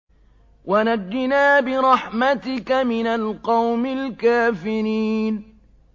وَنَجِّنَا بِرَحْمَتِكَ مِنَ الْقَوْمِ الْكَافِرِينَ